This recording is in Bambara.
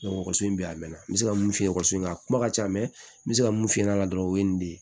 ekɔliso bɛ yan a mɛnna n bɛ se ka mun f'i ye ekɔliso in na a kuma ka ca n bɛ se ka mun f'i ɲɛna dɔrɔn o ye nin de ye